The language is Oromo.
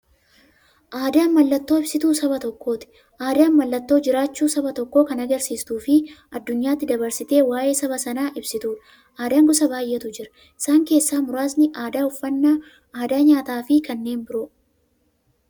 Aadaan mallattoo ibsituu saba tokkooti. Aadaan mallattoo jiraachuu saba tokkoo kan agarsiistufi addunyyaatti dabarsitee waa'ee saba sanaa ibsituudha. Aadaan gosa baay'eetu jira. Isaan keessaa muraasni aadaa, uffannaa aadaa nyaataafi kan biroo.